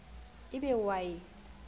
e be o a e